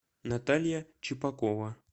наталья чепакова